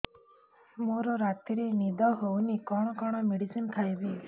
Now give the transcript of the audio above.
ମୋର ରାତିରେ ନିଦ ହଉନି କଣ କଣ ମେଡିସିନ ଖାଇବି